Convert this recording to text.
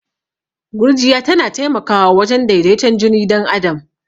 Gurjiya tana taimakwa wajen daidaton jini dan adam.